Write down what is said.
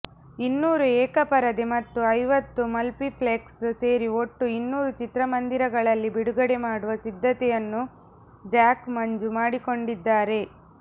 ಇನ್ನೂರು ಏಕಪರದೆ ಮತ್ತು ಐವತ್ತು ಮಲ್ಪಿಪ್ಲೆಕ್ಸ್ ಸೇರಿ ಒಟ್ಟು ಇನ್ನೂರು ಚಿತ್ರಮಂದಿರಗಳಲ್ಲಿ ಬಿಡುಗಡೆ ಮಾಡುವ ಸಿದ್ಧತೆಯನ್ನು ಜಾಕ್ ಮಂಜು ಮಾಡಿಕೊಂಡಿದ್ದಾರೆ